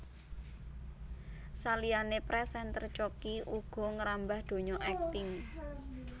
Saliyané présènter Choky uga ngrambah donya akting